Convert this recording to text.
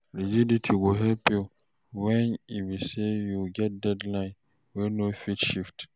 rigidity go help yu wen e be say yu get deadline wey no fit shift